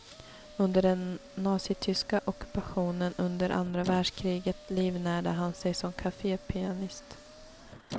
Under den nazityska ockupationen under andra världskriget livnärde han sig som kafépianist.